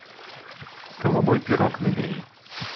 голубой пирог набери